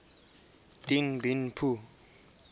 dien bien phu